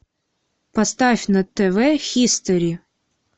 поставь на тв хистори